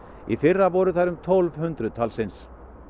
í fyrra voru þær um tólf hundruð talsins